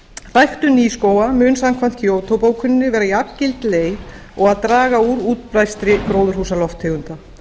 ræktun nýskóga mun samkvæmt kyoto bókuninni vera jafngild leið og að draga úr útblæstri gróðurhúsalofttegunda